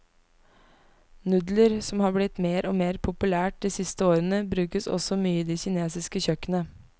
Nudler, som har blitt mer og mer populært de siste årene, brukes også mye i det kinesiske kjøkkenet.